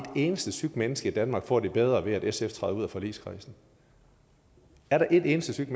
eneste sygt menneske i danmark får det bedre ved at sf træder ud af forligskredsen er der et eneste sygt